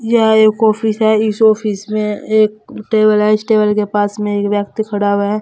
यह एक ऑफिस है इस ऑफिस में एक टेबल है इस टेबल के पास में एक व्यक्ति खड़ा हुआ है।